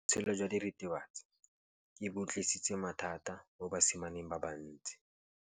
Botshelo jwa diritibatsi ke bo tlisitse mathata mo basimaneng ba bantsi.